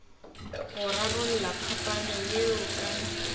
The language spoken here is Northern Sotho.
go rarolla phapano yeo ka